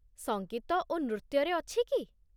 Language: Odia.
ସଙ୍ଗୀତ ଓ ନୃତ୍ୟରେ ଅଛି କି?